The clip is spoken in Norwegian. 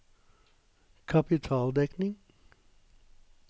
kapitaldekning